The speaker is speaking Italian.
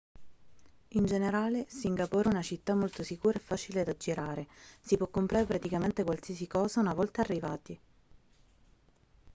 in generale singapore è una città molto sicura e facile da girare si può comprare praticamente qualsiasi cosa una volta arrivati